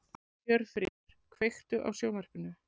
Hjörfríður, kveiktu á sjónvarpinu.